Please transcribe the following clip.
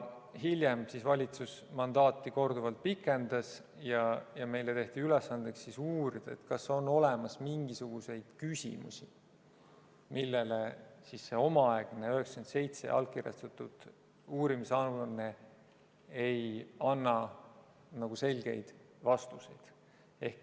Hiljem valitsus pikendas mandaati korduvalt ja meile tehti ülesandeks uurida, kas on olemas mingisuguseid küsimusi, millele see omaaegne, aastal 1997 allkirjastatud uurimisaruanne ei anna selgeid vastuseid.